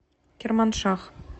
керманшах